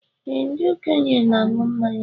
Ee, ndị okenye na aṅụ mmanya